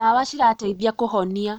Ndawa cirateithia kũhonia